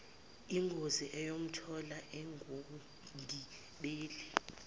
yingozi eyamthola engumgibeli